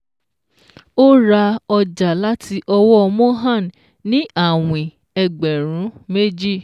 Ó ra ọjà láti ọwọ́ Mohan ní àwìn ẹgbẹ̀rún méjì